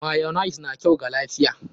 Mayonnaise na kyau ga lafiya?